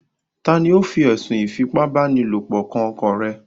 Ta ni ó fi ẹ̀sùn ìfipá báni lòpọ̀ kan ọkọ rẹ̀?